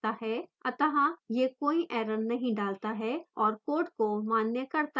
अत: यह कोई error नहीं डालता है और code को मान्य करता है